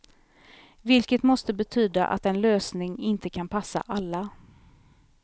Vilket måste betyda att en lösning inte kan passa alla.